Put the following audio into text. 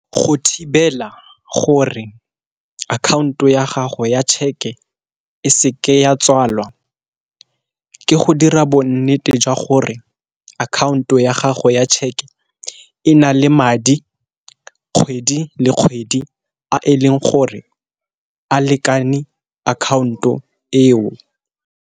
Go thibela gore akhaonto ya gago ya tšheke e seke ya tswalwa, ke go dira bonnete jwa gore account-o ya gago ya tšheke e na le madi kgwedi le kgwedi a e leng gore a lekane account-o eo.